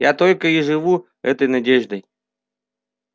я только и живу этой надеждой